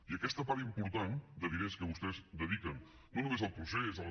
i aquesta part important de diners que vostès dediquen no només al procés a les